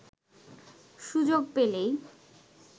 সুযোগ পেলেই